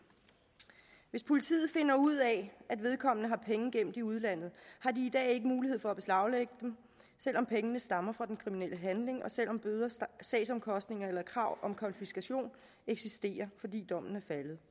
hvis politiet finder ud af at vedkommende har penge gemt i udlandet har de i dag ikke mulighed for at beslaglægge dem selv om pengene stammer fra den kriminelle handling og selv om sagsomkostningerne eller krav om konfiskation eksisterer fordi dommen er faldet